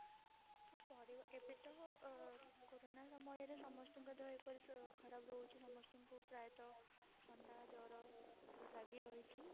ହଁ ପରିବାର ଏବେ ତ କୋରୋନା ସମୟରେ ସମସ୍ତଙ୍କ ଦେହ ଏପରି ଖରବ ରହୁଛି ସମସ୍ତଙ୍କୁ ପ୍ରାୟତ ଥଣ୍ଡା ଜର ଲାଗି ରହିଛି